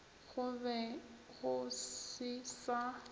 go be go se sa